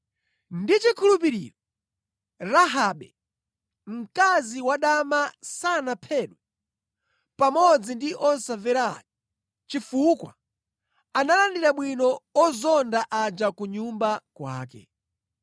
Ndi chikhulupiriro Rahabe, mkazi wadama sanaphedwe pamodzi ndi osamvera aja chifukwa analandira bwino ozonda aja ku nyumba kwake.